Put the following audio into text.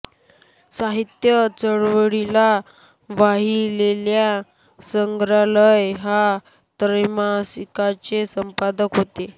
साहित्य चळवळीला वाहिलेल्या संग्रहालय या त्रैमासिकाचे संपादक होते